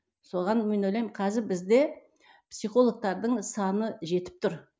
соған мен ойлаймын қазір бізде психолгтардың саны жетіп тұр